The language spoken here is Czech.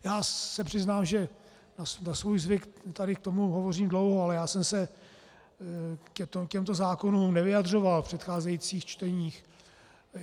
Já se přiznám, že na svůj zvyk tady k tomu hovořím dlouho, ale já jsem se k těmto zákonům nevyjadřoval v předcházejících čteních.